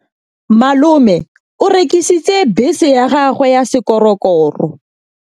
Malome o rekisitse bese ya gagwe ya sekgorokgoro.